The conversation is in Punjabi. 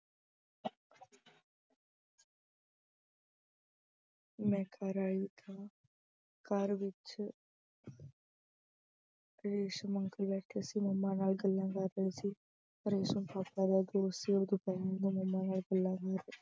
ਮੈਂ ਘਰ ਆਈ ਤਾਂ ਘਰ ਵਿੱਚ ਰੇਸ਼ਮ uncle ਬੈਠੇ ਸੀ, mummy ਨਾਲ ਗੱਲਾਂ ਕਰ ਰਹੇ ਸੀ, ਰੇਸ਼ਮ papa ਦਾ ਦੋਸਤ ਸੀ ਮੰਮਾਂ ਨਾਲ ਗੱਲਾਂ